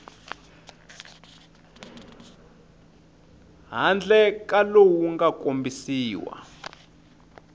handle ka lowu nga kombisiwa